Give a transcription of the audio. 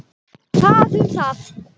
Það um það.